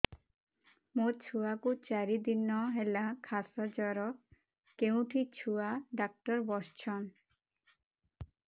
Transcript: ମୋ ଛୁଆ କୁ ଚାରି ଦିନ ହେଲା ଖାସ ଜର କେଉଁଠି ଛୁଆ ଡାକ୍ତର ଵସ୍ଛନ୍